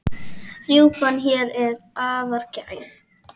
Rjúpan hér er afar gæf.